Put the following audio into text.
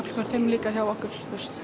klukkan fimm líka hjá okkur